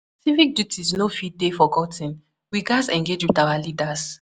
Civic duties no fit dey forgot ten; we gatz engage with our leaders.